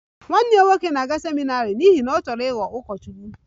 Nwanne ya nwoke na-aga seminarị n'ihi na ọ chọrọ ịghọ ụkọchukwu